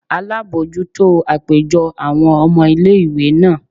alabọjuto apejọ awọn ọmọ ìlé-ìwé naa